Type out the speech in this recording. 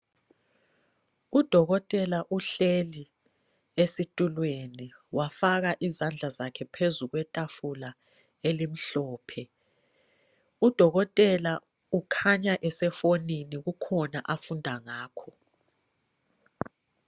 Udokotela uhleli esitulweni wafaka izandla zakhe phezu kwetafula elimhlophe. Udokotela ukhanya esefonini kukhona afunda ngakho.